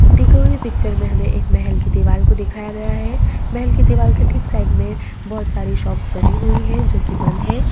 दिखवा हुइ पिक्चर मे हमे एक महल कि दिवाल को दिखाया गया है महल कि दिवाल ठीक साइड मे बहोत सारी शोप बनी हुइ है जो की बन्द है।